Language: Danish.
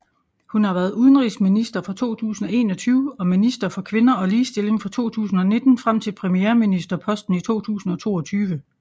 Hun har været udenrigsminister fra 2021 og minister for kvinder og ligestilling fra 2019 frem til premierministerposten i 2022